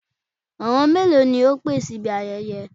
Àwọn mélòó ni o pè síbi ayẹyẹ?